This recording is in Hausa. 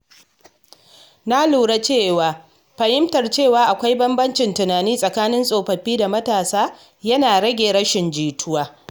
Na lura cewa fahimtar cewa akwai bambancin tunani tsakanin tsofaffi da matasa yana rage rashin jituwa.